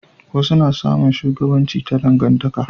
wasu na samun shugabanci ta dangantaka